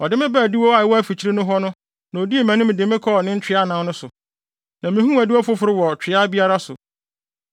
Ɔde me baa adiwo a ɛwɔ afikyiri hɔ no na odii mʼanim de me kɔɔ ne ntwea anan no so, na mihuu adiwo foforo wɔ twea biara so.